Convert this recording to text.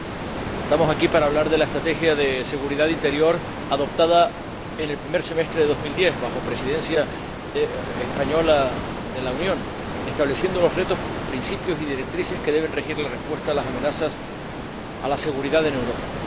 Señor Presidente, estamos aquí para hablar de la Estrategia de Seguridad Interior, adoptada en el primer semestre de 2010 bajo la Presidencia española de la Unión, que establece los retos, principios y directrices que deben regir la respuesta a las amenazas a la seguridad en Europa.